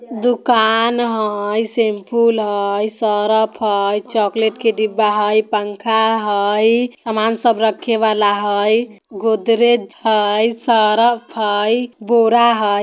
दुकान हई शैम्पूल हई सरफ हई चॉकलेट के डिब्बा हई पंखा हई सामान सब रखे वाला हई गोदरेज हई सरफ हई बोरा हई।